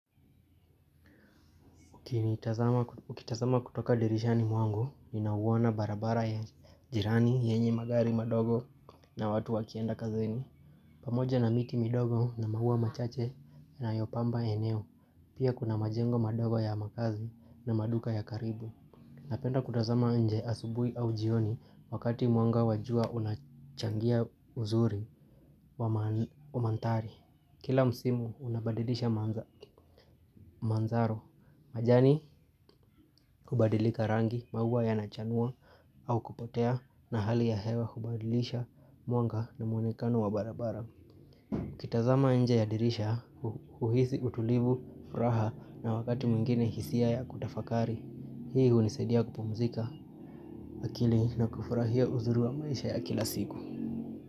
Ukitazama kutoka dirishani mwangu, ninauona barabara ya jirani yenye magari madogo na watu wakienda kazini. Pamoja na miti midogo na maua machache inayopamba eneo. Pia kuna majengo madogo ya makazi na maduka ya karibu. Napenda kutazama nje asubuhi au jioni wakati mwanga wa jua unachangia uzuri wa mandhari. Kila msimu unabadilisha mandharo. Majani kubadilika rangi, maua yanachanua au kupotea na hali ya hewa hubadilisha mwanga na mwonekano wa barabara. Ukitazama nje ya dirisha huhisi utulivu, furaha na wakati mwingine hisia ya kutafakari. Hii hunisaidia kupumzika akili na kufurahia uzuri wa maisha ya kila siku.